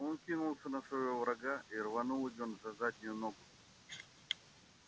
он кинулся на своего врага и рванул его за заднюю ногу